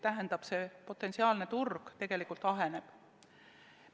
Tähendab, see potentsiaalne turg tegelikult aheneb.